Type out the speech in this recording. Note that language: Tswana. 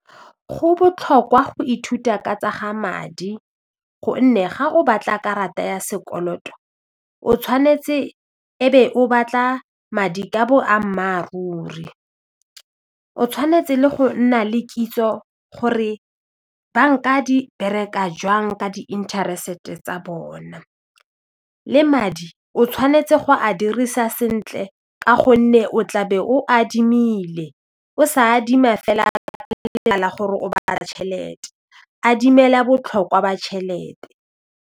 Go botlhokwa go ithuta ka tsa ga madi gonne ga o batla karata ya sekoloto o tshwanetse e be o batla madi ka boammaruri, o tshwanetse le go nna le kitso gore banka di bereka jwang ka di interest tsa bona le madi o tshwanetse go a dirisa sentle ka gonne o tla be o adimile o sa adima fela tšhelete a dimela botlhokwa ba tšhelete.